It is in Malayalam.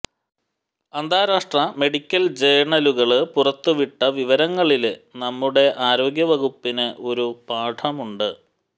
അന്താരാഷ്ട്ര മെഡിക്കല് ജേണലുകള് പുറത്തുവിട്ട വിവരങ്ങളില് നമ്മുടെ ആരോഗ്യവകുപ്പിന് ഒരു പാഠമുണ്ട്